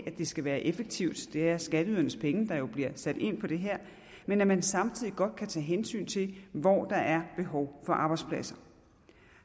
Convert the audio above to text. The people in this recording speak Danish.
det skal være effektivt det er skatteydernes penge der bliver sat ind på det her men at man samtidig godt kan tage hensyn til hvor der er behov for arbejdspladser